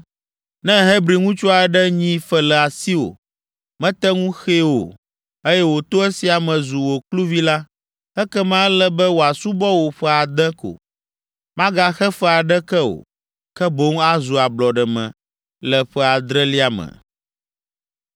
“Ne Hebri ŋutsu aɖe nyi fe le asiwò, mete ŋu xee o, eye wòto esia me zu wò kluvi la, ekema ele be wòasubɔ wò ƒe ade ko. Magaxe fe aɖeke o, ke boŋ azu ablɔɖeme le ƒe adrelia me.